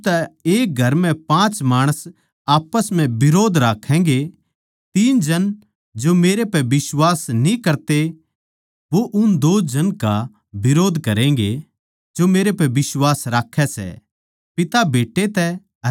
क्यूँके इब तै एक घर म्ह पाँच माणस आप्पस म्ह बिरोध राक्खैगें तीन जन जो मेरे पै बिश्वास न्ही करते वो उन दो जन का बिरोध्द करैगें जो मेरे पै बिश्वास राक्खै सै